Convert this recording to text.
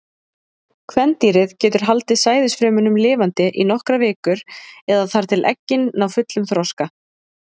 Kvendýrið getur haldið sæðisfrumunum lifandi í nokkrar vikur, eða þar til eggin ná fullum þroska.